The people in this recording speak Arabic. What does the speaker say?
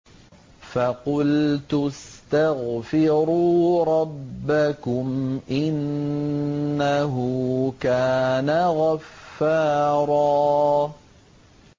فَقُلْتُ اسْتَغْفِرُوا رَبَّكُمْ إِنَّهُ كَانَ غَفَّارًا